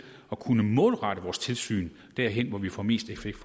at kunne målrette vores tilsyn derhen hvor vi får mest effekt